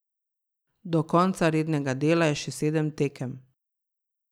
Do konca rednega dela je še sedem tekem.